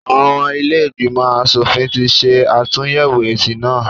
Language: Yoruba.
Àwọn ọmọ ilé ìgbìmọ̀ asòfin ti ṣe àtúnyẹ̀wò èsì náà.